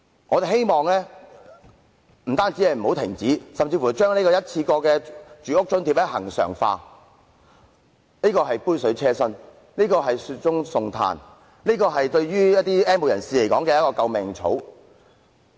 我們希望他不但不要停止發放津貼，甚至可把一次過生活津貼恆常化，因為這雖是杯水車薪，但卻是雪中送炭，是 "N 無人士"的救命草。